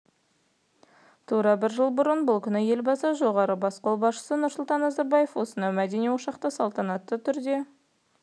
тура бір жыл бұрын бұл күні елбасы жоғарғы бас қолбасшысы нұрсұлтан назарбаев осынау мәдени ошақты салтанатты